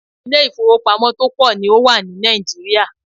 Ilé ìfọwọ́pamo tó pọ̀ ní o wà ní Nàìjíríà.